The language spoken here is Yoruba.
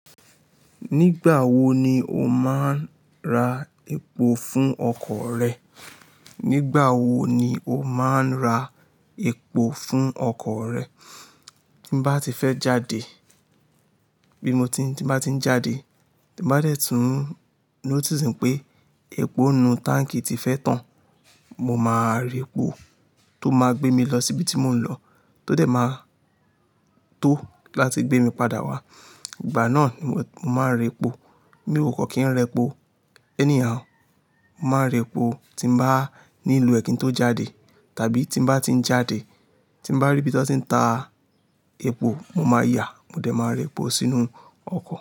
Nígbà wo ni o máa ń ra epo fún ọkọ̀ rẹ? Nígbà wo ni o máa ń ra epo fún ọkọ̀ rẹ? Tí m bá ti fẹ́ jáde, bí mo ti, tí m bá ti ń jáde, tí m bá dẹ̀ tú nótìsì pé epo inú táǹkì ti fẹ́ tán, mo máa ra epo tó máa gbé mi lọ síbi tí mò ń lọ, tó dẹ̀ máa tó láti gbé mi padà wá. Ìgbà náà ni mo, mo máa ń ra epo. Mi ò kọ́ kí ń ra epo anyhow. Mo máa ń ra epo tí mo bá ní lo è kí ń tó jáde, tàbí tí m bá ti ń jáde. Tí m bá rí ibi to ti ń ta epo, mo máa yà. Mo dẹ̀ máa ra epo sínú ọkọ̀.